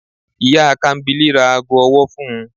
Iya Kambili ra aago ọwọ fún u